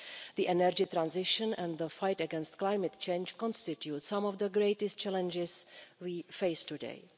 The energy transition and the fight against climate change constitute some of the greatest challenges we face today.